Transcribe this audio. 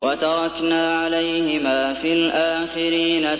وَتَرَكْنَا عَلَيْهِمَا فِي الْآخِرِينَ